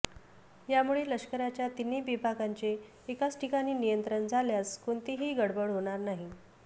यामुळे लष्कराच्या तिन्ही विभागांचे एकाच ठिकाणी नियंत्रण झाल्यास कोणतीही गडबड होणार नाही